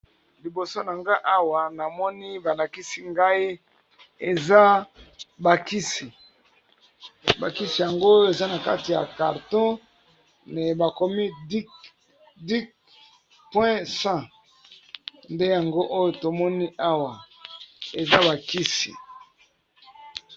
Liboso na nga awa namoni ba lakisi ngai eza ba kisi, ba kisi yango eza na kati ya carton bakomi Duc point 100 nde yango oyo tomoni awa eza ba kisi.